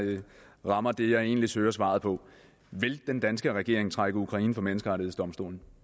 rammer det jeg egentlig søger svaret på vil den danske regering trække ukraine for menneskerettighedsdomstolen